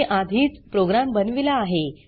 मी आधीच प्रोग्राम बनविला आहे